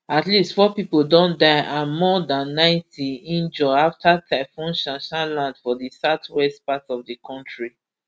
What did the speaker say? at least four pipo don die and more dan ninety wunjure afta typhoon shanshan land for di southwest part of di kontri